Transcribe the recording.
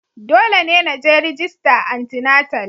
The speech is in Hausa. Dole ne na je rajista antinatal